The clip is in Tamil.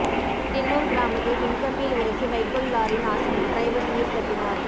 தின்னூர் கிராமத்தில் மின்கம்பியில் உரசி வைக்கோல் லாரி நாசம் டிரைவர் உயிர் தப்பினார்